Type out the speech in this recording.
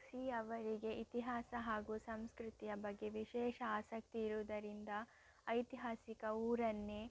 Xi ಅವರಿಗೆ ಇತಿಹಾಸ ಹಾಗೂ ಸಂಸ್ಕೃತಿಯ ಬಗ್ಗೆ ವಿಶೇಷ ಆಸಕ್ತಿಯಿರುವುದರಿಂದ ಐತಿಹಾಸಿಕ ಊರನ್ನೇ